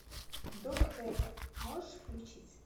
док вест можешь включить